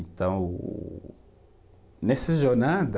Então o o, nessa jornada,